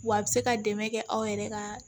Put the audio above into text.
Wa a bɛ se ka dɛmɛ kɛ aw yɛrɛ ka